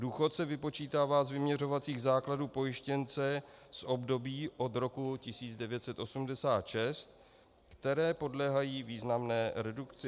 Důchod se vypočítá z vyměřovacích základů pojištěnce z období od roku 1986, které podléhají významné redukci.